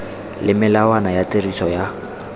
le melawana ya tiriso ya